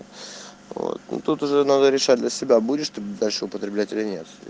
вот ну тут уже надо решать для себя будешь ты дальше употреблять или нет